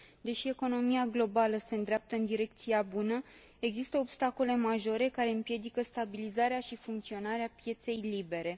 Deși economia globală se îndreaptă în direcția bună, există obstacole majore care împiedică stabilizarea și funcționarea pieței libere.